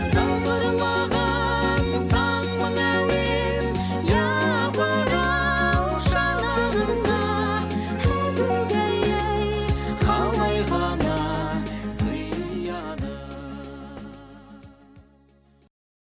сыңғырлаған сан мың әуен япыр ау шанағына әгугай ай қалай ғана сияды